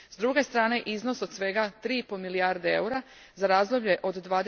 S druge strane, iznos od svega 3,5 milijarde eura za razdoblje do